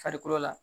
Farikolo la